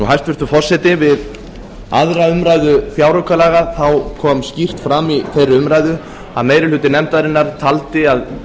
hæstvirtur forseti við aðra umræðu fjáraukalaga kom skýrt fram í þeirri umræðu að meiri hluti nefndarinnar taldi að